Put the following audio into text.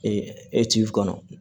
e ci kɔnɔ